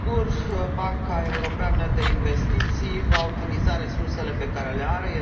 Sigur, Banca Europeană de Investiții va utiliza resursele pe care le are.